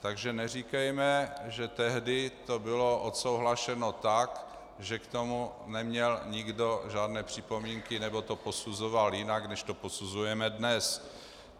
Takže neříkejme, že tehdy to bylo odsouhlaseno tak, že k tomu neměl nikdo žádné připomínky nebo to posuzoval jinak, než to posuzujeme dnes.